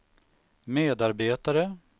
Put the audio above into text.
medarbetare